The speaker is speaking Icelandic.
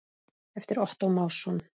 eftir Ottó Másson